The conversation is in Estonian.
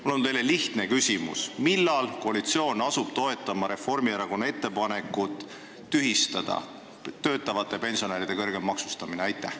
Mul on teile lihtne küsimus: millal koalitsioon asub toetama Reformierakonna ettepanekut tühistada töötavate pensionäride kõrgem maksustamine?